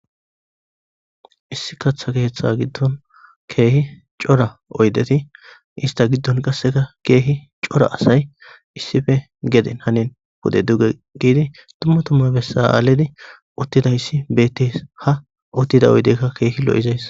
issi kaththa keeththa giddon keehi cora oydeti ista giddon qasseka keehi cora asay issife geden hanen fude duge giidi tumma tumma bessa7aaledi uttidayssi bette ha uttida oydeykka keehi lo7izays